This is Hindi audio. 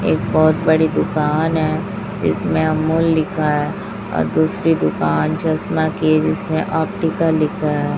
एक बहोत बड़ी दुकान है इसमें अमूल लिखा है अ दूसरी दुकान चश्मा की जिसमें ऑप्टिकल लिखा है।